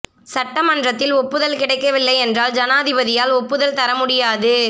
சட்ட மன்றத்தில் ஒப்புதல் கிடைக்கவில்லை என்றால் ஜனாதிபதியால் ஒப்புதல் தர முடியாது